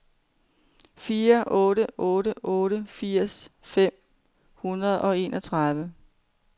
fire otte otte otte firs fem hundrede og enogtredive